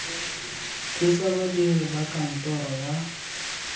thusa badiri ba kantoro ya